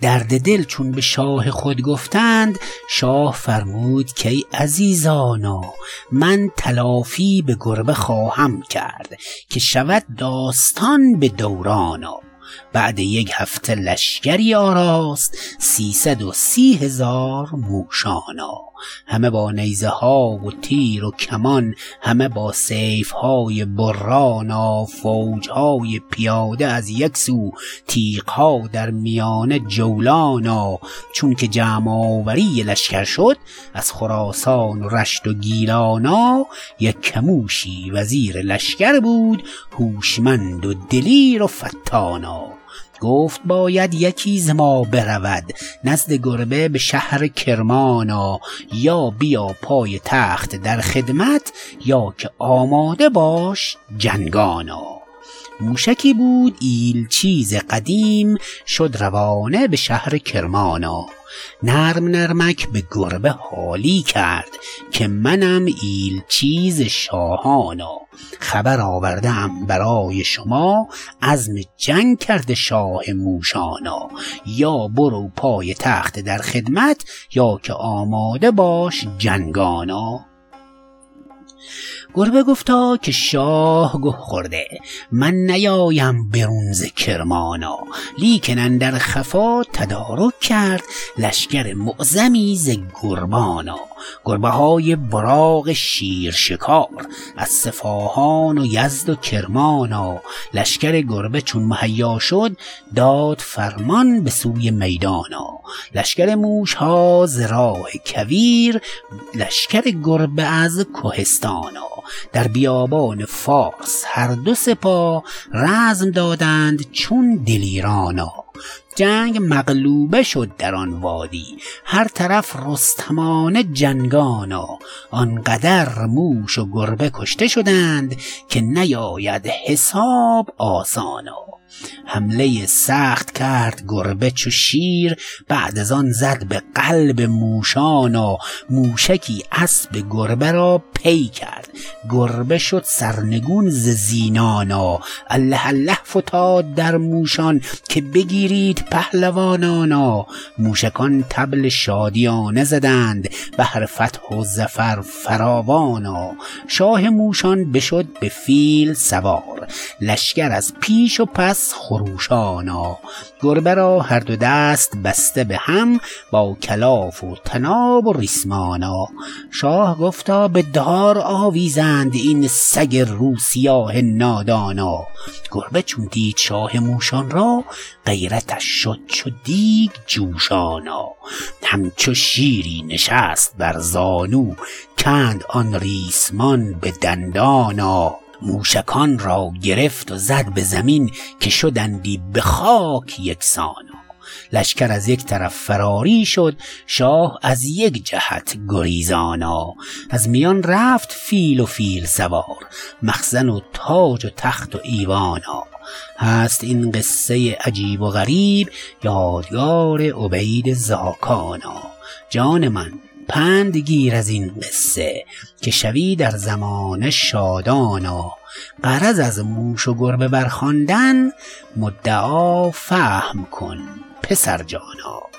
درد دل چون به شاه خود گفتند شاه فرمود که ای عزیزانا من تلافی به گربه خواهم کرد که شود داستان به دورانا بعد یک هفته لشگری آراست سیصد و سی هزار موشانا همه با نیزه ها و تیر و کمان همه با سیف های برانا فوج های پیاده از یک سو تیغ ها در میانه جولانا چونکه جمع آوری لشگر شد از خراسان و رشت و گیلانا یکه موشی وزیر لشگر بود هوشمند و دلیر و فطانا گفت باید یکی ز ما برود نزد گربه به شهر کرمانا یا بیا پای تخت در خدمت یا که آماده باش جنگانا موشکی بود ایلچی ز قدیم شد روانه به شهر کرمانا نرم نرمک به گربه حالی کرد که منم ایلچی ز شاهانا خبر آورده ام برای شما عزم جنگ کرده شاه موشانا یا برو پای تخت در خدمت یا که آماده باش جنگانا گربه گفتا که شاه گه خورده من نیایم برون ز کرمانا لیکن اندر خفا تدارک کرد لشگر معظمی ز گربانا گربه های براق شیر شکار از صفاهان و یزد و کرمانا لشگر گربه چون مهیا شد داد فرمان به سوی میدانا لشگر موشها ز راه کویر لشگر گربه از کهستانا در بیابان فارس هر دو سپاه رزم دادند چون دلیرانا جنگ مغلوبه شد در آن وادی هر طرف رستمانه جنگانا آنقدر موش و گربه کشته شدند که نیاید حساب آسانا حمله سخت کرد گربه چو شیر بعد از آن زد به قلب موشانا موشکی اسب گربه را پی کرد گربه شد سرنگون ز زینانا الله الله فتاد در موشان که بگیرید پهلوانانا موشکان طبل شادیانه زدند بهر فتح و ظفر فراوانا شاه موشان بشد به فیل سوار لشگر از پیش و پس خروشانا گربه را هر دو دست بسته به هم با کلاف و طناب و ریسمانا شاه گفتا بدار آویزند این سگ روسیاه نادانا گربه چون دید شاه موشان را غیرتش شد چو دیگ جوشانا همچو شیری نشست بر زانو کند آن ریسمان به دندانا موشکان را گرفت و زد به زمین که شدندی به خاک یکسانا لشگر از یک طرف فراری شد شاه از یک جهت گریزانا از میان رفت فیل و فیل سوار مخزن و تاج و تخت و ایوانا هست این قصه عجیب و غریب یادگار عبید زاکانا جان من پند گیر از این قصه که شوی در زمانه شادانا غرض از موش و گربه برخواندن مدعا فهم کن پسر جانا